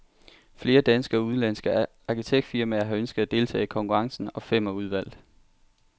Flere danske og udenlandske arkitektfirmaer har ønsket at deltage i konkurrencen, og fem er udvalgt.